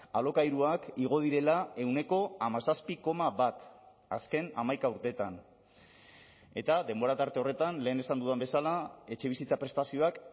alokairuak igo direla ehuneko hamazazpi koma bat azken hamaika urteetan eta denbora tarte horretan lehen esan dudan bezala etxebizitza prestazioak